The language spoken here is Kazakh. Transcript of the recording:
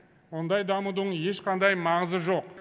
ондай дамудың ешқандай маңызы жоқ